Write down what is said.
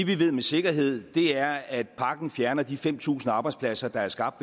vi ved med sikkerhed er at pakken fjerner de fem tusind arbejdspladser der er skabt